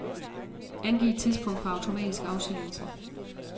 Angiv tidspunkt for automatisk afsendelse.